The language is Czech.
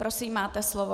Prosím, máte slovo.